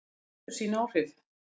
Þetta hefur sín áhrif.